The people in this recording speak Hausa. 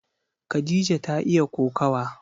Khadija ta iya kokawa.